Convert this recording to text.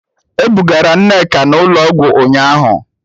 E bugara Nneka n'ụlọọgwụ ụnyahụ